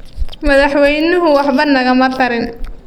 Madaxwaynuhu waxba nagama tarin